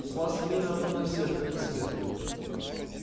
у вас время одно на всех как и свет